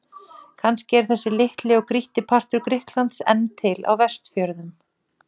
Kannski er þessi litli og grýtti partur Grikklands enn til á Vestfjörðum.